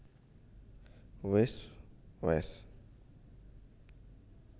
Wis wés